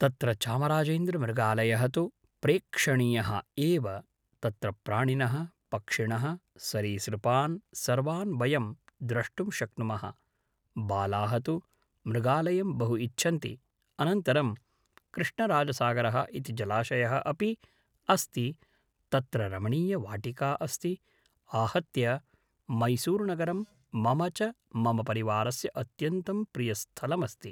तत्र चामराजेन्द्रमृगालयः तु प्रेक्षणीयः एव तत्र प्राणिनः पक्षिणः सरीसृपान् सर्वान् वयं द्रष्टुं शक्नुमः बालाः तु मृगालयं बहु इच्छन्ति अनन्तरं कृष्णराजसागरः इति जलाशयः अपि अस्ति तत्र रमणीयवाटिका अस्ति आहत्य मैसूरुनगरं मम च मम परिवारस्य अत्यन्तं प्रियस्थलमस्ति